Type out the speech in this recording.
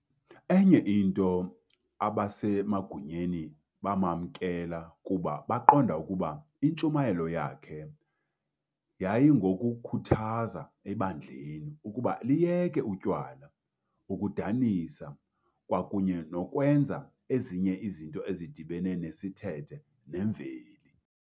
Enye into abasemagunyeni bamamkela kuba baqonda ukuba intshumayelo yakhe yayingokukhuthaza ebandleni ukuba liyeke utywala, ukudanisa kwakunye nokwenza ezinye izinto ezidibene nesithethe nemveli.